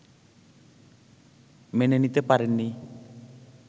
মেনে নিতে পারেননি